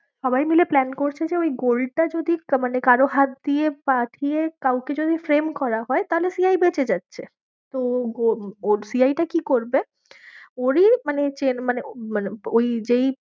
সবাই মিলে plan করছে যে ওই gold টা যদি মানে কারও হাত দিয়ে পাঠিয়ে কাউকে যদি flame করা হয় তাহলে CI বেঁচে যাচ্ছে, তো ওর CI টা কি করবে ওরই মানে চেন মানে মানে ওই যেই